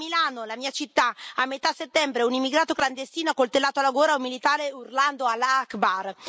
A Milano, la mia città, a metà settembre, un immigrato clandestino ha accoltellato alla gola un militare urlando Allah akbar.